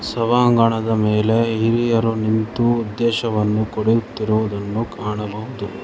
ಸಭಾಂಗಣದ ಮೇಲೆ ಹಿರಿಯರು ನಿಂತು ಉದ್ದೇಶವನ್ನು ಕೊಡುತ್ತಿರುವುದನ್ನು ಕಾಣಬಹುದು.